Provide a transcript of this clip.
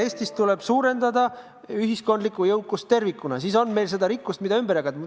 Eestis tuleb suurendada ühiskondlikku jõukust tervikuna, siis on meil seda rikkust, mida ümber jagada.